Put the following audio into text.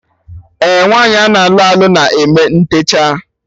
Ee, nwaanyị ana alụ alụ na eme ntechaa